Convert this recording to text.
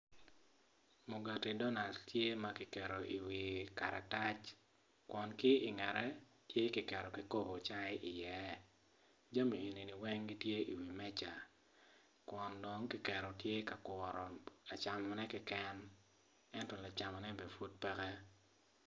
Mugati donat tye ma kiketo iwi karatac kun ki ingete tye kiketo kikopo cai i iye jami eni ni weng gitye i wi meca kun dong kiketo tye ka kuru camone keken ento lacamone bene pud peke